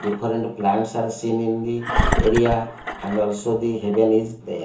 dipperent plants are seen in the area and also the hidden is there.